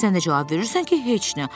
Sən də cavab verirsən ki, heç nə.